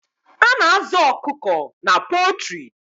A na-azụ ọkụkọ na pọltrị.